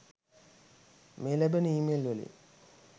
මේ ලැබන ඊමේල්වලින්